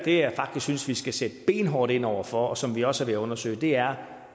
jeg faktisk synes vi skal sætte benhårdt ind over for og som vi også er ved at undersøge er